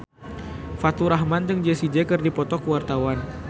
Faturrahman jeung Jessie J keur dipoto ku wartawan